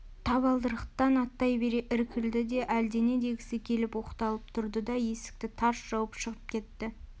табалдырықтан аттай бере іркілді де әлдене дегісі келіп оқталып тұрды да есікті тарс жауып шығып кетті